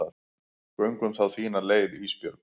Göngum þá þína leið Ísbjörg.